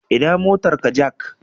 Ina motarka Jack